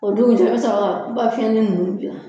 O dugujɛ i bɛ sɔrɔ ka i ka fiɲɛnin ninnu dilan